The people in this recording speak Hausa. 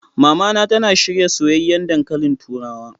Mamana tana shirya soyayyen dankalin turawa.